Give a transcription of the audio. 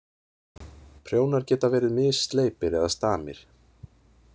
Prjónar geta verið missleipir eða stamir.